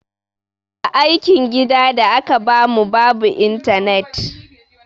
Aikin gida da aka ba mu babu a intanet.